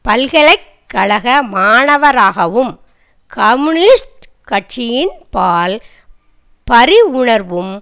பல்கலை கழக மாணவராகவும் கம்யூனிஸ்ட் கட்சியின்பால் பரிவுணர்வும்